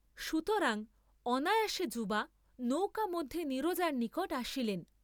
সুতরাং অনায়াসে যুবা নৌকামধ্যে নীরজার নিকট আসিলেন।